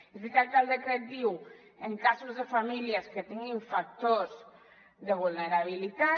és veritat que el decret diu en casos de famílies que tinguin factors de vulnerabilitat